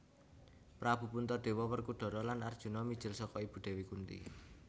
Prabu Puntadewa Werkudara lan Arjuna mijil saka ibu Dewi Kunthi